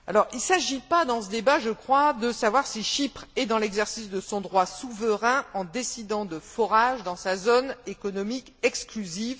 Il ne s'agit pas, dans ce débat, je crois, de savoir si Chypre est dans l'exercice de son droit souverain en décidant de forages dans sa zone économique exclusive.